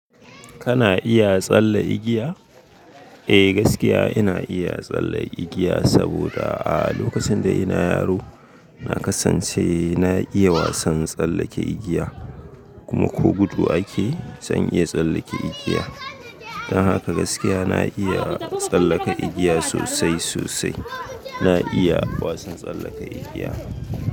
Kana iya tsalle igiya? Eh gaskiya ina iya tsallen igiya saboda a lokacin da ina yaro na kasance na iya wasan tsallake igiya kuma ko gudu ake zan iya tsallake igiya. Dan haka gaskiya na iya tsallaka igiya sosai sosai. Na iya wasan tsallaka igiya.